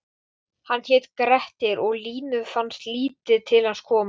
Hann hét Grettir og Línu fannst lítið til hans koma: